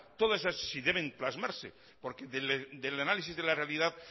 toda esas si deben plasmarse porque del análisis de la realidad